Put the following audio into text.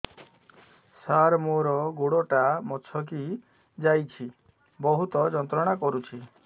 ସାର ମୋର ଗୋଡ ଟା ମଛକି ଯାଇଛି ବହୁତ ଯନ୍ତ୍ରଣା କରୁଛି